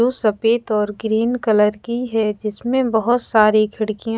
लू सफेद और ग्रीन कलर की है जिसमे बहुत सारी खिड़कियां--